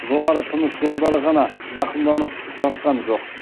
жоғары тыныс жолдары ғана зақымданып жатқан жоқ